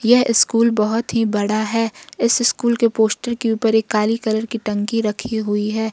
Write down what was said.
यह स्कूल बहोत ही बड़ा है इस स्कूल के पोस्टर के ऊपर काली कलर की टंकी रखी हुई है।